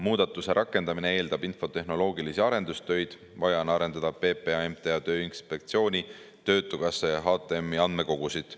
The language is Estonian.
Muudatuse rakendamine eeldab infotehnoloogilisi arendustöid, vaja on arendada PPA, MTA, Tööinspektsiooni, töötukassa ja HTM‑i andmekogusid.